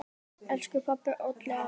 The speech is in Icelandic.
Elsku pabbi, Olli, afi.